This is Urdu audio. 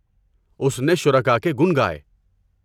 اس نے شرکاء کے گن گائے۔